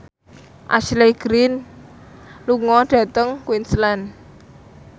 Ashley Greene lunga dhateng Queensland